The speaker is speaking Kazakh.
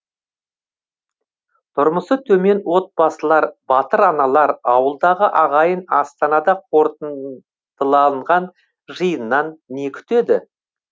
тұрмысы төмен отбасылар батыр аналар ауылдағы ағайын астанада қорытындыланған жиыннан не күтеді